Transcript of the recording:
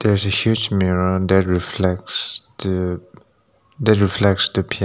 There is a huge mirror that reflects to that reflects the pa--